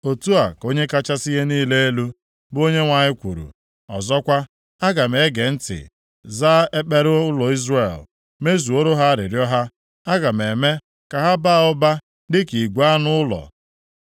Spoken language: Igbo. “Otu a ka Onye kachasị ihe niile elu, bụ Onyenwe anyị kwuru, ọzọkwa, aga m ege ntị, zaa ekpere ụlọ Izrel, mezuoro ha arịrịọ ha. Aga m eme ka ha baa ụba dịka igwe anụ ụlọ,